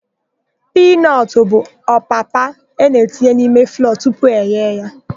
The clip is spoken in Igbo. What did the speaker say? Piinọtụ bụ opapa a na-etinye n'ime flọọ tupu eghe ya.